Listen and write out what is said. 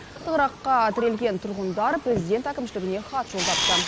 тығырыққа тірелген тұрғындар президент әкімшілігіне хат жолдапты